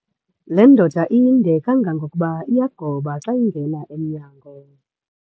Le ndoda inde kangangokuba iyagoba xa ingena emnyango.